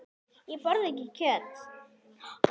Ég borða ekki kjöt.